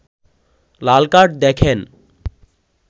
লাল card দেখেন